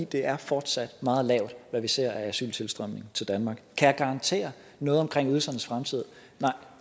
det er fortsat meget lavt hvad vi ser af asyltilstrømning til danmark kan jeg garantere noget omkring ydelsernes fremtid nej